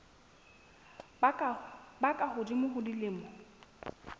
ba ka hodimo ho dilemo